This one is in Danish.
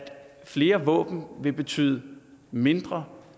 flere våben vil betyde mindre